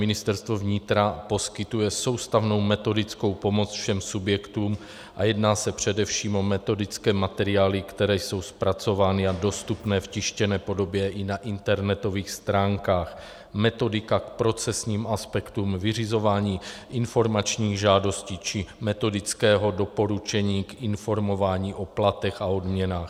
Ministerstvo vnitra poskytuje soustavnou metodickou pomoc všem subjektům, a jedná se především o metodické materiály, které jsou zpracovány a dostupné v tištěné podobě i na internetových stránkách - metodika k procesním aspektům vyřizování informačních žádostí či metodického doporučení k informování o platech a odměnách.